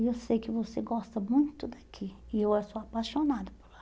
E eu sei que você gosta muito daqui, e eu eu sou apaixonada por lá.